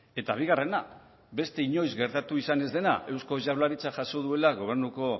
eta bigarrena beste inoiz gertatu izan ez dena eusko jaurlaritzak jaso duela gobernuko